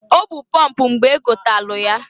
O bu pọmp mgbe gotalụ ya.